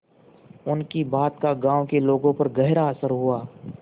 उनकी बात का गांव के लोगों पर गहरा असर हुआ